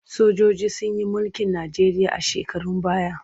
Sojoji sun yi mulkin Najeriya a shekarun baya.